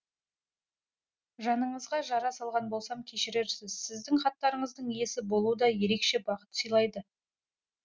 жаныңызға жара салған болсам кешірерсіз сіздің хаттарыңыздың иесі болу да ерекше бақыт сыйлайды